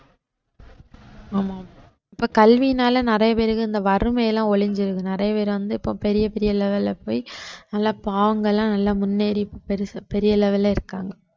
ஆமா இப்ப கல்வியினால நிறைய பேருக்கு இந்த வறுமைலாம் ஒழிஞ்சிருது நிறைய பேர் வந்து இப்ப பெரிய பெரிய level ல போய் நல்லா நல்லா முன்னேறி பெரிய level ல இருக்காங்க